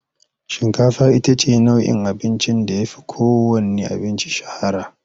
Shinkafa ita ce abincin da ta fi kowanne na'in abinci shahara.